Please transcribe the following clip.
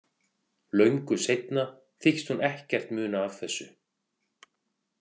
Löngu seinna þykist hún ekkert muna af þessu.